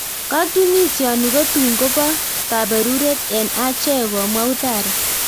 Katunisioni kotun kopaa kaberutet en acheek .komwa uthara